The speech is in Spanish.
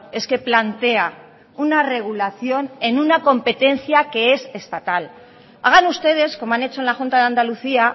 es que plantea una regulación en una competencia que es estatal hagan ustedes como han hecho en la junta de andalucía